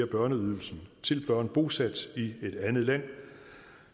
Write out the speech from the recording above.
børneydelsen til børn bosat i et andet land